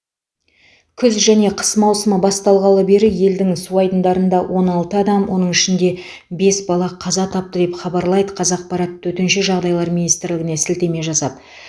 күз және қыс маусымы басталғалы бері елдің су айдындарында он алты адам оның ішінде бес бала қаза тапты деп хабарлайды қазақпарат төтенше жағдайлар министрлігіне сілтеме жасап